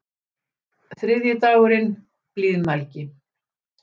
Þriðji dagurinn: Blíðmælgi.